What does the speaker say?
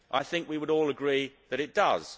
I think we would all agree that it does.